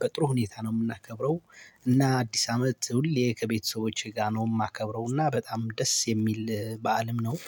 በጥሩ ሁኔታ ነው እምናከብረው። እና አዲስ አመት ሁሌ ከቤተሰቦቸ ጋር ነው እማከብረው እና በጣም ደስ የሚል በዓልም የው።